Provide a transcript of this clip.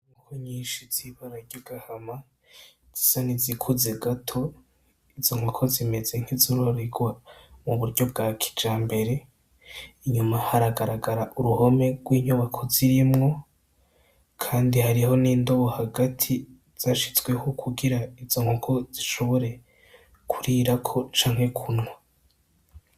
Inkoko nyinshi zibara ryagahama zisa nizikuze gato izo nkoko zimeze nkizororerwa mu buryo bwa kijambere inyuma haragaragara uruhome rwinyubako zirimwo kandi hariho nindobo hagati zashizweho kugira izo nkoko zishobore kurirako canke kunwa.